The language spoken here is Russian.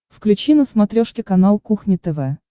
включи на смотрешке канал кухня тв